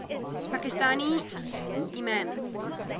pakistani imams